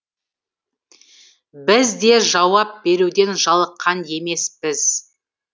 біз де жауап беруден жалыққан емеспіз